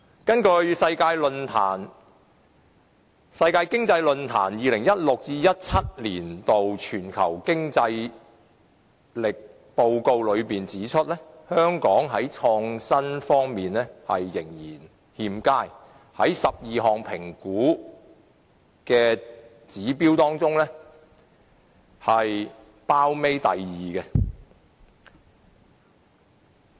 根據世界經濟論壇的《2016-2017 年全球競爭力報告》，香港在創新方面的表現仍然欠佳，在12項評估指標當中位列榜尾第二。